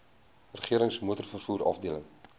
regerings motorvervoer afdeling